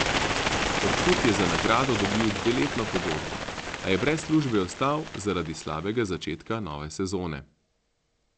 Korkut je za nagrado dobil dveletno pogodbo, a je brez službe ostal zaradi slabega začetka nove sezone.